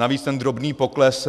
Navíc ten drobný pokles